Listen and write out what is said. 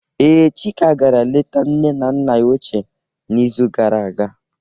Ee, Chika gara leta nne na nna ya ochịe n'izu gara aga